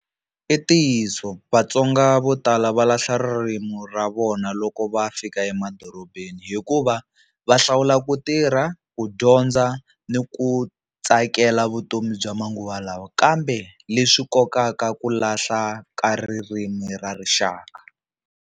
I ntiyiso Vatsonga vo tala va lahla ririmi ra vona loko va fika emadorobeni hikuva va hlawula ku tirha, ku dyondza ni ku tsakela vutomi bya manguva lawa kambe leswi kokaka ku lahla ka ririmi ra rixaka.